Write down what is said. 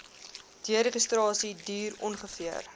deregistrasie duur ongeveer